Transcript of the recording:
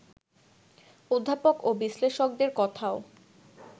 অধ্যাপক ও বিশ্লেষকদের কথাও